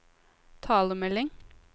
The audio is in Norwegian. talemelding